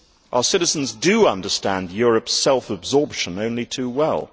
Our citizens do understand Europe's self absorption only too well.